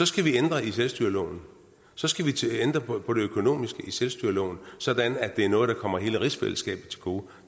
skal vi ændre i selvstyreloven så skal vi til at ændre på det økonomiske i selvstyreloven sådan at det er noget der kommer hele rigsfællesskabet til gode